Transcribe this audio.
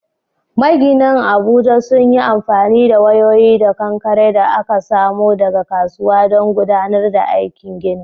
Maginan Abuja sun yi amfani da wayoyi da kankare da aka samo daga kasuwa don gudanar da aikin ginin.